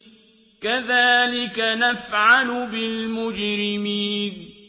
كَذَٰلِكَ نَفْعَلُ بِالْمُجْرِمِينَ